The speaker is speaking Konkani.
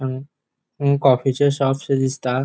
अ कॉफीचे शॉपशे दिसता.